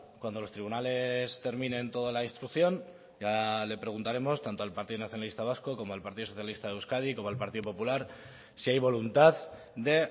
cuando los tribunales terminen toda la instrucción ya le preguntaremos tanto al partido nacionalista vasco como al partido socialista de euskadi como al partido popular si hay voluntad de